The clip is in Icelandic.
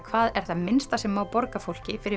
hvað er það minnsta sem má borga fólki fyrir